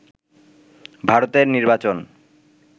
ভারতের নির্বাচন